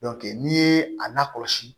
n'i ye a lakɔlɔsi